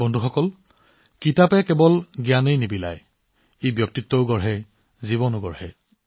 বন্ধুসকল কিতাপে কেৱল জ্ঞানই প্ৰদান নকৰে বৰঞ্চ ব্যক্তিত্বও সৃষ্টি কৰে আৰু জীৱনো সৃষ্টি কৰে